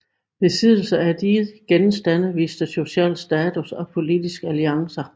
Besiddelse af de genstande viste sociale status og politiske alliancer